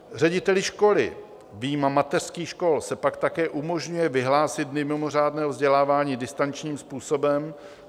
Řediteli školy, vyjma mateřských škol, se pak také umožňuje vyhlásit dny mimořádného vzdělávání distančním způsobem.